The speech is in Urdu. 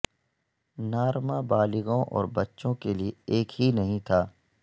نارما بالغوں اور بچوں کے لئے ایک ہی نہیں تھا